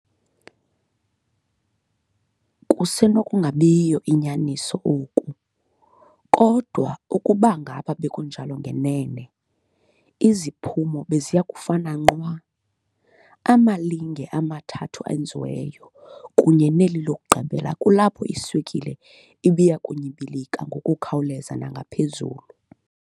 Kusenokunabiyo nyaniso oku, kodwa ukubangaba bekunjalo ngenene, iziphumo beziyakufana nqwa- amalinge amathathu awenziweyo, kunye neli lokugqibela kulapho iswekile ibiyakunyibilika ngokukhawuleza nangaphezulu.